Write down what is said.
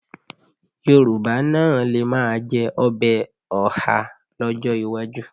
Yorùbá náà lè máa jẹ ọbẹ̀ ọhá lọ́jọ́ iwájú